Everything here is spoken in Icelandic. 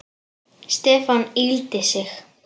Stefán yggldi sig.